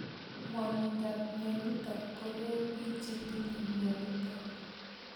Ng'wanindop mionitok ko pee pik che tinye mionitok